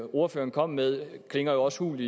ordføreren kom med klinger jo også hult